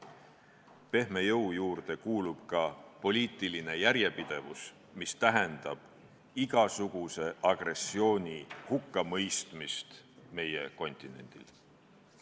Pehme jõu juurde kuulub ka poliitiline järjepidevus, mis tähendab igasuguse agressiooni hukkamõistmist meie maailmajaos.